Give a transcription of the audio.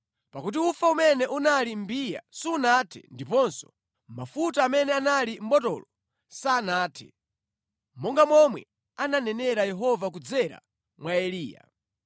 Pakuti ufa umene unali mʼmbiya sunathe ndiponso mafuta amene anali mʼbotolo sanathe, monga momwe ananenera Yehova kudzera mwa Eliya.